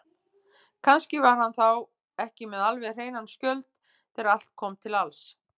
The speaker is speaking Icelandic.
Kannski var hann þá ekki með alveg hreinan skjöld þegar allt kom til alls.